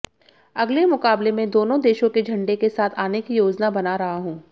अगले मुकाबले में दोनों देशों के झंडे के साथ आने की योजना बना रहा हूं